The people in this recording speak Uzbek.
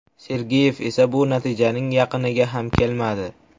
Sergeyev esa bu natijaning yaqiniga ham kelmadi.